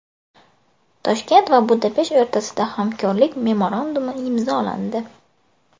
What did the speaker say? Toshkent va Budapesht o‘rtasida hamkorlik memorandumi imzolandi.